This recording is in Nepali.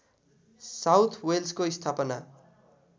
साउथ वेल्सको स्थापना